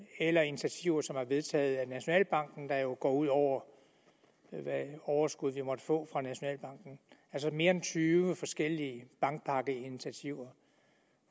eller initiativer som er vedtaget af nationalbanken der jo går ud over hvad overskud vi måtte få fra nationalbanken altså mere end tyve forskellige bankpakkeinitiativer